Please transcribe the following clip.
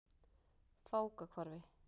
Fákahvarfi